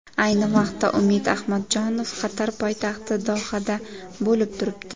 Ayni vaqtda Umid Ahmadjonov Qatar poytaxti Dohada bo‘lib turibdi.